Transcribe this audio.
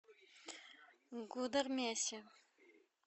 гудермесе